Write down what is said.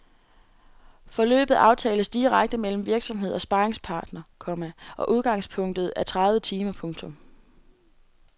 Forløbet aftales direkte mellem virksomhed og sparringspartner, komma og udgangspunktet er tredive timer. punktum